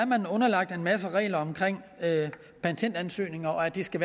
underlagt en masse regler om patentansøgninger og at de skal